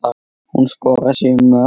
Hún skoraði sjö mörk.